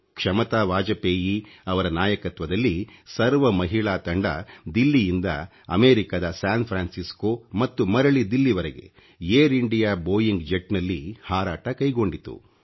ಕ್ಷಮತಾ ವಾಜಪೇಯಿ ಅವರ ನಾಯಕತ್ವದಲ್ಲಿ ಸರ್ವ ಮಹಿಳಾ ತಂಡ ದಿಲ್ಲಿಯಿಂದ ಅಮೇರಿಕದ ಸ್ಯಾನ್ ಫ್ರಾನ್ಸಿಸ್ಕೊ ಮತ್ತು ಮರಳಿ ದಿಲ್ಲಿವರೆಗೆ ಂiಡಿ Iಟಿಜiಚಿ ಃoeiಟಿg ಎeಣ ನಲ್ಲಿ ಹಾರಾಟ ಕೈಗೊಂಡಿತು